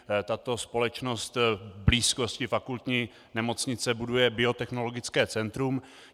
Tato společnost v blízkosti fakultní nemocnice buduje biotechnologické centrum.